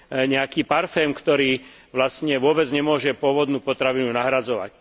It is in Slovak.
nejaký parfém, ktorý vlastne vôbec nemôže pôvodnú potravinu nahradzovať.